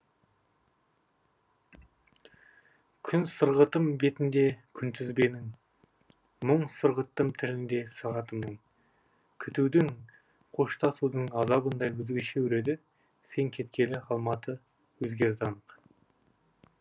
күн сырғыттым бетінде күнтізбенің мұң сырғыттым тілінде сағатымның күтудің қоштасудың азабын да өзгеше өреді сен кеткелі алматы өзгерді анық